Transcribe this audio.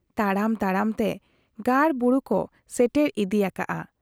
ᱛᱟᱲᱟᱢ ᱛᱟᱲᱟᱢ ᱛᱮ ᱜᱟᱲ ᱵᱩᱨᱩ ᱠᱚ ᱥᱮᱴᱮᱨ ᱤᱫᱤᱭᱟᱠᱟᱰ ᱟ ᱾